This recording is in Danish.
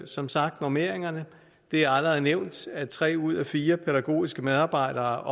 som sagt normeringerne det er allerede nævnt at tre ud af fire pædagogiske medarbejdere